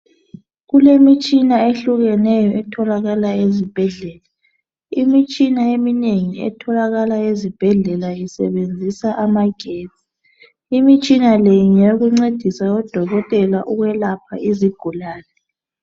Kulemitshina eyehlukeneyo etholakalayo ezibhedlela, imitshina eminengi etholakala ezibhedlela isebenzisa amagetsi. Imitshina le ngeyokuncedisa odokotela nxa belapha izigulane.